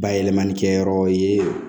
Bayɛlɛmani kɛyɔrɔ ye